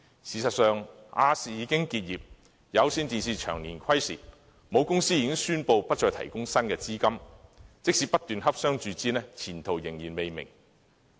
事實上，亞洲電視有限公司已經結業，而香港有線電視有限公司長年虧蝕，其母公司已宣布不再提供新資金，即使不斷洽商注資，前途仍然未明。